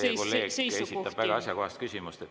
Teie kolleeg esitab väga asjakohast küsimust.